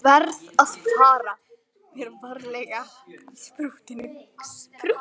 Ég verð að fara mér varlega í sprúttinu.